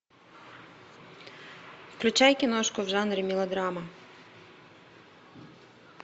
включай киношку в жанре мелодрама